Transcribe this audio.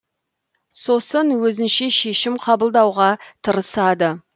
сосын өзінше шешім қабылдауға тырысады